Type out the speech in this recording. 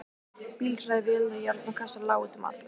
Bílhræ, vélar, járn og kassar lágu út um allt.